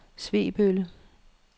Svebølle